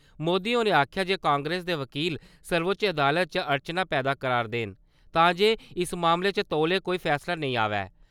मोदी हारें आखेआ जे कांग्रेस दे बकील, सर्वोच्च अदालत च अड़चनां पैदा करा`रदे न तां जे इस मामले च तौले कोई फैसला नेईं आवै।